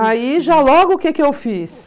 Aí, já logo, o que que eu fiz?